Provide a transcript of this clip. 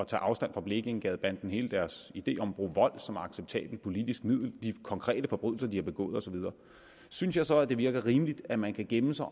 tage afstand fra blekingegadebanden hele deres idé om at bruge vold som acceptabelt politisk middel de konkrete forbrydelser de har begået og så videre synes jeg så at det virker rimeligt at man kan gemme sig